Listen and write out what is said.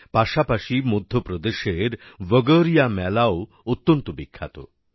পাশাপাশি মধ্যপ্রদেশের ভগোরিয়া মেলাও অত্যন্ত বিখ্যাত